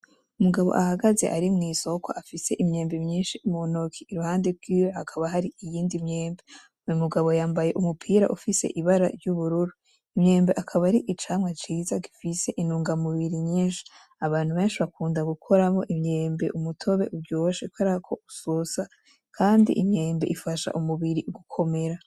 Umugabo ahagaze ari mu isoko afise imyembe myinshi mu ntoki iruhande gwiwe hakaba hari iyindi myembe. Uyu mugabo yambaye umupira ufise ibara ry'ubururu. Imyembe akaba ari icamwa ciza gifise intungamubiri nyinshi. Abantu benshi bakunda gukoramwo imyembe umutobe uryoshe kuberako usosa kandi imyembe ifasha umubiri gukomera.